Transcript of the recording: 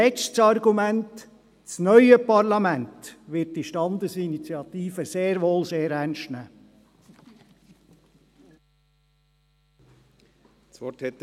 Letztes Argument, das neue Parlament wird diese Standesinitiative sehr wohl sehr ernst nehmen.